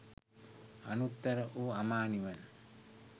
අනුත්තර වූ අමා නිවන